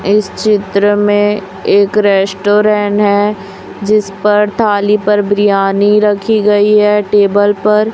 इस चित्र में एक रेस्टोरेन है जिस पर थाली पर बिरयानी रखी गई है टेबल पर--